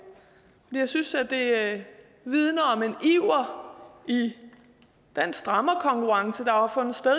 jeg synes det vidner om en iver i den strammerkonkurrence der har fundet sted